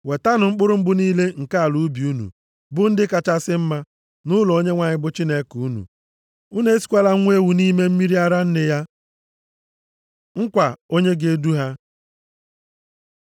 “Wetanụ mkpụrụ mbụ niile nke ala ubi unu, bụ ndị kachasị mma, nʼụlọ Onyenwe anyị bụ Chineke unu. “Unu esikwala nwa ewu nʼime mmiri ara nne ya. + 23:19 Otu nʼime omenaala dị nʼusoro ofufe ndị Kenan bụ isi nwa ewu nʼime mmiri ara nne ya. \+xt Dit 14:21\+xt* Nkwa onye ga-edu ha